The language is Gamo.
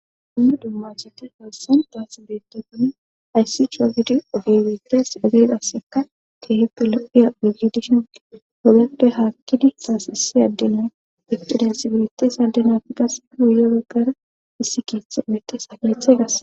hunnu dumma chete haassan daas beetefone ayssi coo gidi ofeywetes egegasseka teehippe lo7iya miggidishinqe hogeppe haakkidi saas issi addena esxedensibilites addenafi qas iuye baggara issi keethe medesa keethe gasa